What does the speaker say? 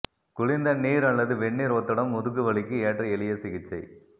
குளிர்ந்த நீர் அல்லது வெந்நீர் ஒத்தடம் முதுகுவலிக்கு ஏற்ற எளிய சிகிச்சை